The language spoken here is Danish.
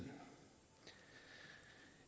at